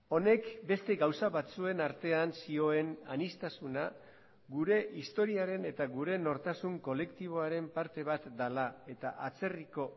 honek beste gauza batzuen artean zioen aniztasuna gure historiaren eta gure nortasun kolektiboaren parte bat dela eta atzerriko